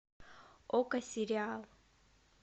окко сериал